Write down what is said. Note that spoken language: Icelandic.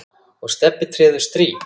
og Stebbi treður strý.